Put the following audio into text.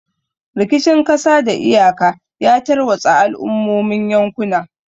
Rikicin kasa da kan iyaka ya tarwatsa al'ummomin yankuna.